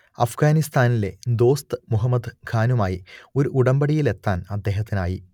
അഫ്ഗാനിസ്താനിലെ ദോസ്ത് മുഹമ്മദ് ഖാനുമായി ഒരു ഉടമ്പടിയിലെത്താൻ അദ്ദേഹത്തിനായി